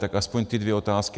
Tak aspoň ty dvě otázky.